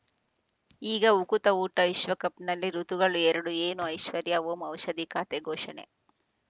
ಈಗ ಉಕುತ ಊಟ ವಿಶ್ವಕಪ್‌ನಲ್ಲಿ ಋತುಗಳು ಎರಡು ಏನು ಐಶ್ವರ್ಯಾ ಓಂ ಔಷಧಿ ಖಾತೆ ಘೋಷಣೆ